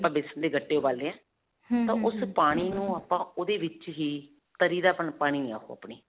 ਆਪਾਂ ਬੇਸਨ ਦੇ ਗੱਟੇ ਉਬਾਲੇ ਹੈ ਤਾਂ ਉਸ ਪਾਣੀ ਨੂੰ ਆਪਾਂ ਓਹਦੇ ਵਿੱਚ ਹੀ ਤਰੀ ਦਾ ਪਾਣੀ ਅਪਨੀ.